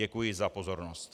Děkuji za pozornost.